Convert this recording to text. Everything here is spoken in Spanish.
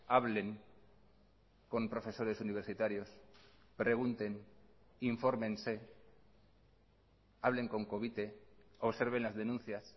hablen con profesores universitarios pregunten infórmense hablen con covite observen las denuncias